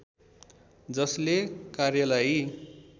जसले कार्यलाई